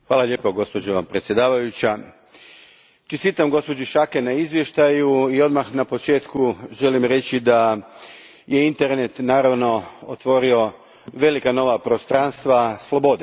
Gospođo predsjednice, čestitam gospođi Schaake na izvještaju i odmah na početku želim reći da je internet naravno otvorio velika nova prostranstva slobode.